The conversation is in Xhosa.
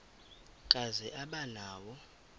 kazi aba nawo